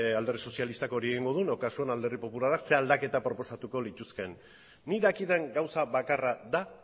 alderdi sozialistak hori egingo duen edo kasuan alderdi popularra ze aldaketa proposatuko lituzkeen nik dakidan gauza bakarra da